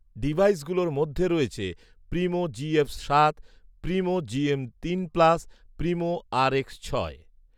device গুলোর মধ্যে রয়েছে প্রিমো জিএফ সাত , প্রিমো জিএম তিন প্লাস, প্রিমো আর এক্স ছয়